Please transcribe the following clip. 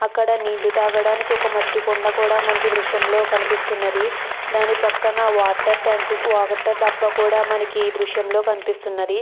అక్కడ నీళ్లు తాగడానికి ఒక మట్టి కుండ కూడా మనకి దృశ్యంలో కనిపిస్తున్నది దాని పక్కన వాటర్ ట్యాంక్ వాటర్ డబ్బా కూడా మనకి దృశ్యంలో కనిపిస్తున్నది.